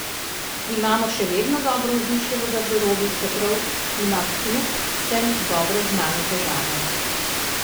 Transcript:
Imamo še vedno dobro vzdušje v garderobi, čeprav ima klub vsem dobro znane težave.